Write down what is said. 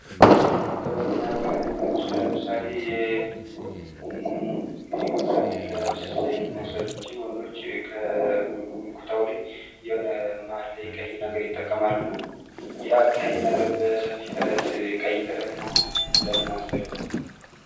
ጥበብ እና ባህል ውስጥ ለምሳሌ የጎንደርን የአለባበስ ስታይል መውሰድ እንችላለን። አንዳንዶች ከኩታው ላይ መሃል ላይ የሆነ ቀይ ነገር ይጠቀማሉ። እና ያ ቀይ ነገር በሰፌ ጥለት ቀይ ጥለት መሆኑ ለምን አስፈለገ።